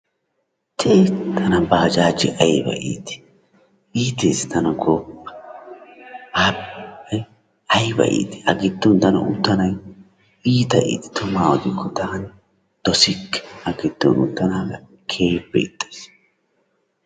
tii tana bajajee ayba itii! iitees tana gooppa! ha ayba iitii a giddon tana uttanagee iita itees tumaa odiko taani dosikke a gidoon uttanaaga keehippe ixxayis.